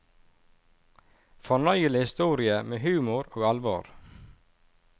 Fornøyelig historie med humor og alvor.